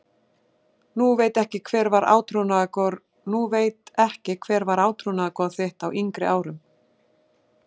Nú veit ekki Hver var átrúnaðargoð þitt á yngri árum?